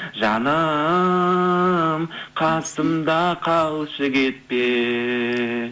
жаным қасымда қалшы кетпей